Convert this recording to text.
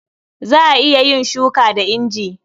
Za a iya yin shuka da inji.